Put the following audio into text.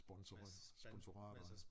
Sponsorere sponsorater